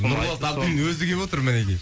нұрболат абдуллин өзі келіп отыр мінекей